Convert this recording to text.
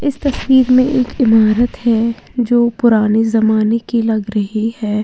इस तस्वीर में एक इमारत है जो पुराने जमाने की लग रही है।